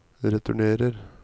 returnerer